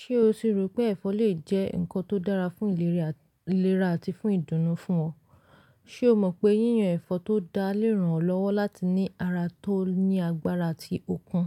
Ṣé o ti rò pé ẹ̀fọ́ lè jẹ́ nǹkan tó dára fún ìlera àti fún ìdùnnú fún ọ? Ṣé o mọ̀ pé yíyan ẹ̀fọ́ tó dá lé ràn ọ́ lọ́wọ́ láti ní ara tó ní agbára àti ọkun?